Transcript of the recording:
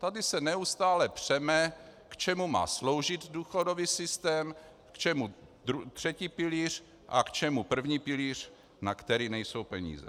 Tady se neustále přeme, k čemu má sloužit důchodový systém, k čemu třetí pilíř a k čemu první pilíř, na který nejsou peníze.